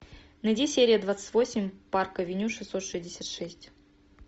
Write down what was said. найди серия двадцать восемь парк авеню шестьсот шестьдесят шесть